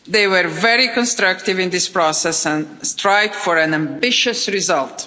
They were very constructive in this process and strived for an ambitious result.